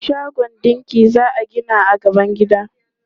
Shagon ɗinki za a gina a gaban gidan.